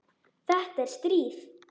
Þetta er stríð!